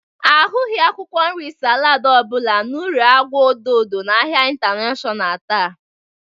A hụghị akwụkwọ nri salaadị ọbụla n'ulọ agwa odo odo n'ahịa intanashọnal taa.